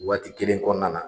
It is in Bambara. Waati kelen kɔnɔna na